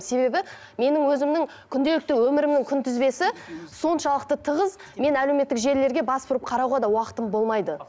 себебі менің өзімнің күнделікті өмірімнің күнтізбесі соншалықты тығыз мен әлеуметтік желілерге бас бұрып қарауға да уақытым болмайды